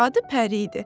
Adı Pəri idi.